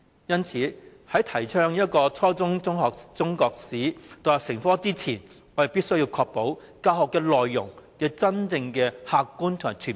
因此，在提倡初中中史獨立成科前，我們必須確保教學內容客觀和全面。